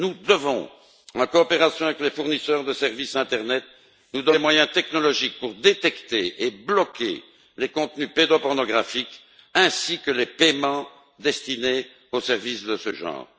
Nous devons, en coopération avec les fournisseurs de services internet, nous donner les moyens technologiques pour détecter et bloquer les contenus pédopornographiques, ainsi que les paiements destinés aux services de ce genre.